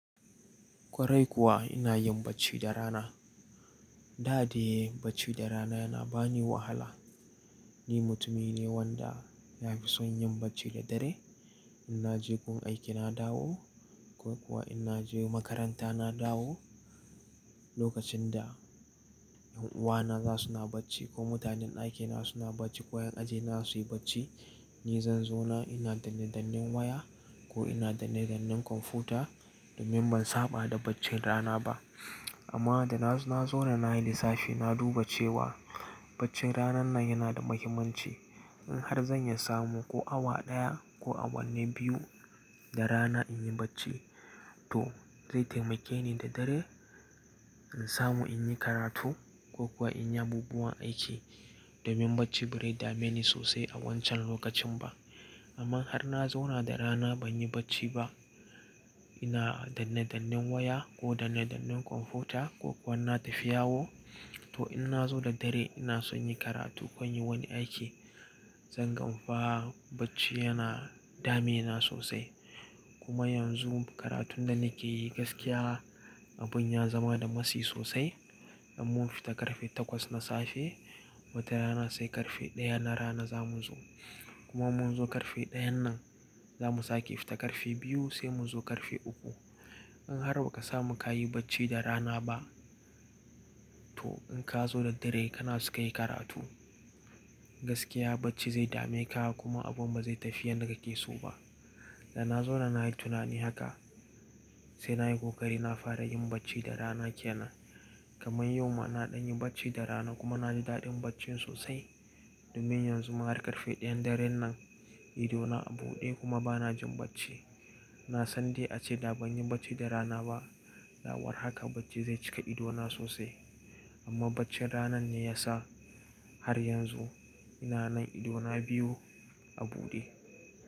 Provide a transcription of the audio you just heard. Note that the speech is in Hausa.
Kwarai kuwa ina yin bacci da rana. Da de bacci da rana yana bani wahala. Ni mutumi ne wanda nafi son yin bacci da dare. In naje gun aiki na dawo ko kuwa in naje makaranta na dawo, lokacin da yan uwana za suna bacci ko mutanen ɗakina suna bacci ko yan ajina suyi bacci, ni zan zauna ina da danne-dannen waya ko ina da danne-dannen kwamfuta domin ban saba da bacci rana ba. Amma da na zauna nayi lissafi na duba cewa baccin ranar nan yana da muhimmanci. In har zan iya samu ko awa daya ko awanni biyu da rana in yi bacci to zai taimake ni da dare in samu in yi karatu ko kuwa in yi abubuwan aiki domin bacci ba zai dame ni sosai a wancan lokacin ba. Amma har na zauna da rana ban yi bacci ba, ina da danne-dannen waya ko da danne-dannen kwamfuta ko kuwa na tafi yawo to in na zo da dare ina son yi karatu ko yin wani aiki, zan gan fa! Bacci yana damuna sosai. Kuma yanzu karatun da nake yi gaskiya abun ya zama da matsi sosai. In mun fita karfe takwas na safe, wata rana sai karfe ɗaya na rana zamu zo. Kuma mun zo karfe ɗayan nan zamu sake fita karfe biyu sai mu zo karfe uku. In har ba ka samu ka yi bacci da rana ba to in ka zo da dare kana so ka yi karatu, gaskiya bacci zai dame ka kuma abun ba zai tafi yanda keso ba. Da na zauna nayi tunani haka sai nayi ƙoƙari na fara yin bacci da rana kenan. Kamar yau ma na dan yin bacci da rana kuma na ji daɗin bacci sosai domin yanzu ma har karfe ɗayan daren nan, ido na a buɗe kuma bana jin bacci. Na san dai a ce da ban yi bacci da rana ba, da war haka bacci zai cika ido na sosai. Amma baccin ranan ne ya sa har yanzu ina nan ido na biyu a buɗe.